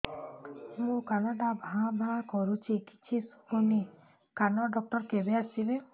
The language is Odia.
ମୋ କାନ ଟା ଭାଁ ଭାଁ କରୁଛି କିଛି ଶୁଭୁନି କାନ ଡକ୍ଟର କେବେ ଆସିବେ